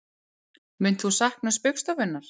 Munt þú sakna Spaugstofunnar